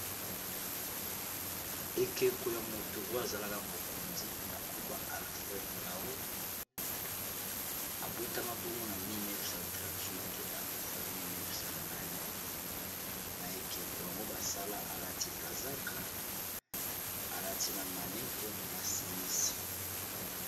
Ekeko ya moto oyo azalaka mokonzi na nkomba alfred raul abotama bongo na 1938 akufa na 1999 na ekeko yango basala alati kazaka alati na manete na simisi